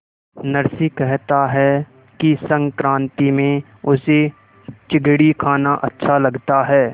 नरसी कहता है कि संक्रांति में उसे चिगडी खाना अच्छा लगता है